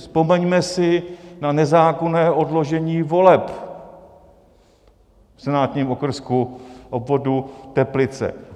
Vzpomeňme si na nezákonné odložení voleb v senátním okrsku, obvodu Teplice.